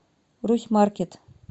русьмаркет